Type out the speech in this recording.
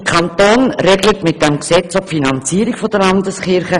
Der Kanton regelt mit diesem Gesetz auch die Finanzierung der Landeskirchen.